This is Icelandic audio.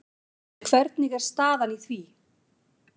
En hvernig er staðan í því?